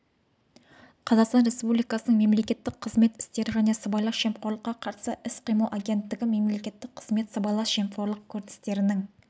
қазақстан республикасының мемлекеттік қызмет істері және сыбайлас жемқорлыққа қарсы іс-қимыл агенттігі мемлекеттік қызмет сыбайлас жемқорлық көріністерінің